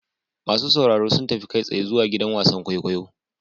Masu sauraro sun tafi kai tsaye zuwa gidan wasan kwaikwayo.